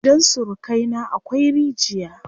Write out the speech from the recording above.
Gidan surukai na akwai rigiya.